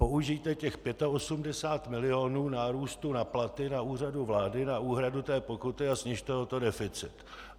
Použijte těch 85 milionů nárůstu na platy na Úřadu vlády na úhradu té pokuty a snižte o to deficit.